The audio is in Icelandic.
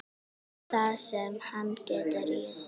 Það sem hann getur étið!